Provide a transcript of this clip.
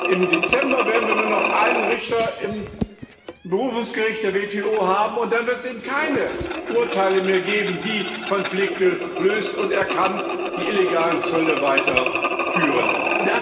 Im Dezember werden wir nur noch einen Richter am Berufungsgericht der WTO haben, und dann wird es eben keine Urteile mehr geben, die Konflikte lösen, und er kann die illegalen Zölle weiter bestehen lassen.